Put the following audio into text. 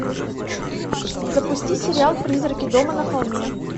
запусти сериал призраки дома на холме